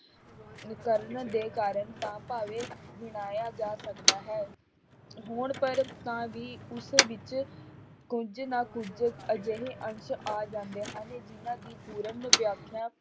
ਕਰਨ ਦੇ ਕਾਰਨ ਤਾਂ ਭਾਵੇਂ ਗਿਣਾਇਆ ਜਾ ਸਕਦਾ ਹੈ ਹੁਣ ਪਰ ਤਾਂ ਵੀ ਉਸ ਵਿੱਚ ਕੁੱਝ ਨਾ ਕੁੱਝ ਅਜਿਹੇ ਅੰਸ਼ ਆ ਜਾਂਦੇ ਹਨ ਜਿੰਨਾਂ ਦੀ ਪੂਰਨ ਵਿਆਖਿਆ